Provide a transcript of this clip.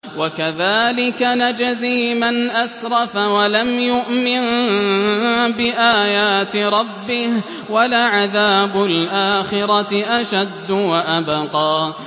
وَكَذَٰلِكَ نَجْزِي مَنْ أَسْرَفَ وَلَمْ يُؤْمِن بِآيَاتِ رَبِّهِ ۚ وَلَعَذَابُ الْآخِرَةِ أَشَدُّ وَأَبْقَىٰ